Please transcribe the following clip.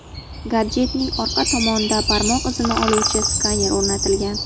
Gadjetning orqa tomonida barmoq izini oluvchi skaner o‘rnatilgan.